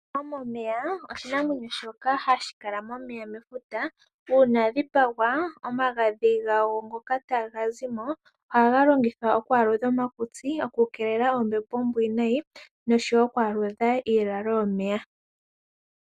Ombwa yomomeya oshinamwenyo shoka hashi kala momeya mefuta. Uuna ya dhipagwa omagadhi ngoka taga zi mo ohaga longidhwa oku aludha omakutsi, okukeelela oombepo oombwiinayi noshowo oku aludha iilalo yomeya.